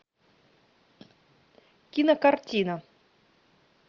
кинокартина